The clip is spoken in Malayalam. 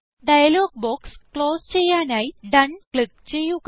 ഡയലോഗ് ബോക്സ് ക്ലോസ് ചെയ്യാനായി ഡോണ് ക്ലിക്ക് ചെയ്യുക